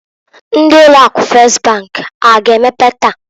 Ndi ụlọ akụ Fes bank ha a ga emepe taa?